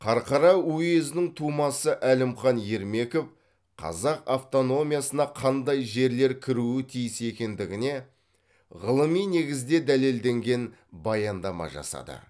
қарқара уезінің тумасы әлімхан ермеков қазақ автономиясына қандай жерлер кіруі тиіс екендігіне ғылыми негізде дәлелденген баяндама жасады